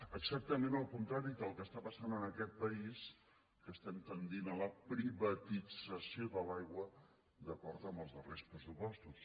exactament el contrari del que està passant en aquest país que estem tendint a la privatització de l’aigua d’acord amb els darrers pressupostos